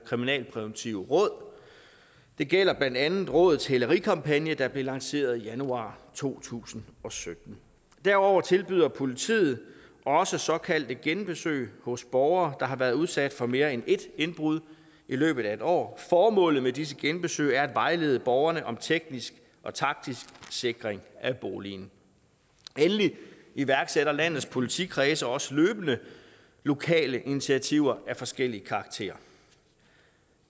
kriminalpræventive råd det gælder blandt andet rådets hælerikampagne der blev lanceret i januar to tusind og sytten derudover tilbyder politiet også såkaldte genbesøg hos borgere der har været udsat for mere end ét indbrud i løbet af et år formålet med disse genbesøg er at vejlede borgerne om teknisk og taktisk sikring af boligen endelig iværksætter landets politikredse også løbende lokale initiativer af forskellig karakter